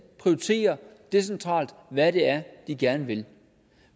prioriterer decentralt hvad det er de gerne vil